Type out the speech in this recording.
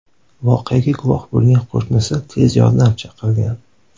Voqeaga guvoh bo‘lgan qo‘shnisi tez yordam chaqirgan.